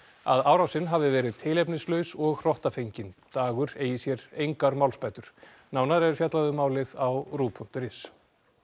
að árásin hafi verið tilefnislaus og hrottafengin dagur eigi sér engar málsbætur nánar er fjallað um málið á ruv punktur is